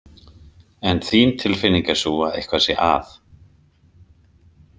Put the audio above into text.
En þín tilfinning er sú að eitthvað sé að?